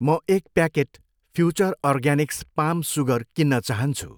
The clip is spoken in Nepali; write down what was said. म एक packet Future Organics palm sugar किन्न चाहन्छु।